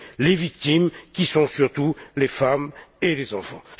les victimes qui sont surtout les femmes et les enfants.